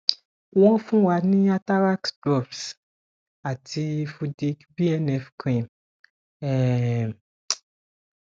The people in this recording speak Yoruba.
won fun wa ní atarax drops ati fudic bnf cream um